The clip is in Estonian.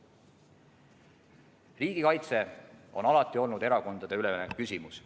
Riigikaitse on alati olnud erakondadeülene küsimus.